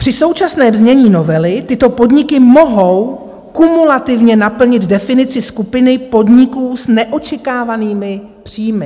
Při současném znění novely tyto podniky mohou kumulativně naplnit definici skupiny podniků s neočekávanými příjmy.